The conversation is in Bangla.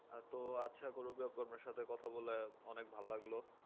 হ্যাঁ তো আচ্ছা আপনার সাথে কথা বলে অনেক ভালো লাগলো